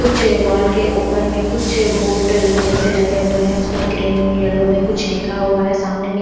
कुछ वॉल के ऊपर में कुछ बोटल जैसे लगे हुए हैं। उसमें ग्रीन येलो में कुछ लिखा हुआ है। सामने में--